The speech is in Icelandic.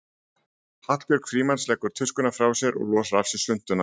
Hallbjörg Frímanns leggur tuskuna frá sér og losar af sér svuntuna.